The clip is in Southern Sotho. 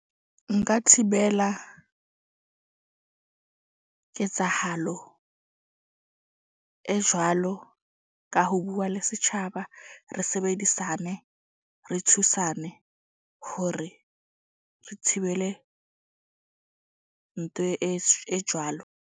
Nka thibela ketsahalo e jwalo ka ho bua le setjhaba, re sebedisane. Re thusane hore re thibele e jwalo.